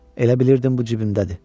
Elə bilirdim bu cibimdədir.